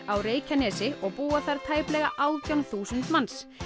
á Reykjanesi og búa þar tæplega átján þúsund manns